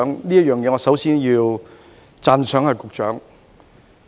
就此，我首先要讚賞局長。